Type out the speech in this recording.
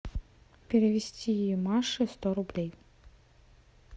перевести маше сто рублей